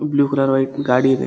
Blue colour white ಗಾಡಿ ಇದೆ.